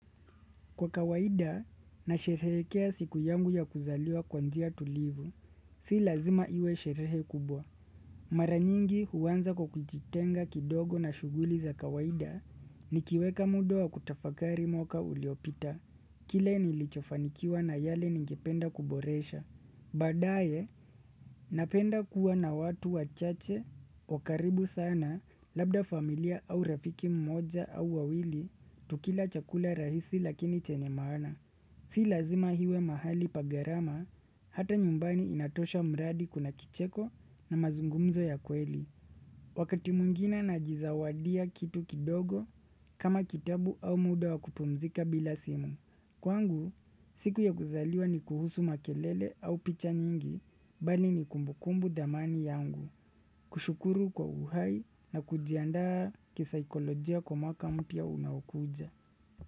Kwa kawaida nasherehekea siku yangu ya kuzaliwa kwa njia tulivu. Si lazima iwe sherehe kubwa. Mara nyingi huanza kwa kujitenga kidogo na shughuli za kawaida nikiweka muda wa kutafakari mwaka uliopita. Kile nilichofanikiwa na yale ningependa kuboresha. Badaye napenda kuwa na watu wachache wa karibu sana labda familia au rafiki mmoja au wawili tukila chakula rahisi lakini chenye maana Si lazima iwe mahali pa gharama, ata nyumbani inatosha mradi kuna kicheko na mazungumzo ya kweli Wakati mwingine najizawadia kitu kidogo kama kitabu au muda wa kupumzika bila simu Kwangu, siku ya kuzaliwa ni kuhusu makelele au picha nyingi, bali ni kumbukumbu dhamani yangu, kushukuru kwa uhai na kujiandaa kisaikolojia kwa mwaka mpya unaokuja.